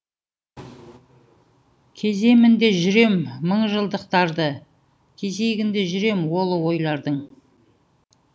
кеземін де жүрем мыңжылдықтарды кезегінде жүрем ұлы ойлардың